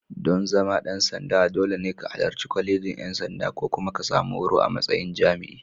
Dan zama ɗan sanda, dole ne ka halarci Kwalejin ʼYan sanda ko kuma ka sami horo a matsayin jami'i.